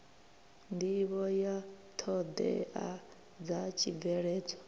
nḓivho ya ṱhoḓea dza tshibveledzwa